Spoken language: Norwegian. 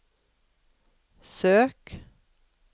søk